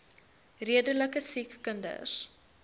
redelike siek kinders